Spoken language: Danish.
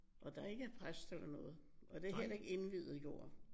Og der er ikke præst eller noget. Og det er heller ikke indviet jord